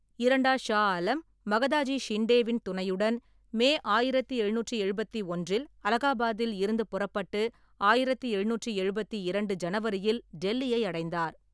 இரண்டா ஷா ஆலம் மகாதாஜி ஷிண்டேவின் துணையுடன் மே ஆயிரத்தி எழுநூற்றி எழுபத்தி ஒன்றில் அலகாபாத்தில் இருந்து புறப்பட்டு ஆயிரத்தி எழுநூற்றி எழுபத்தி இரண்டு ஜனவரியில் டெல்லியை அடைந்தார்.